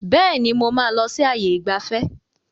Bẹ́ẹ̀ni, mo máa lọ sí ààyè ìgbafẹ́.